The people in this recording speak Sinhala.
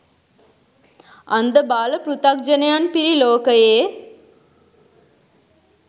අන්ධබාල පෘථග්ජනයන් පිරි ලෝකයේ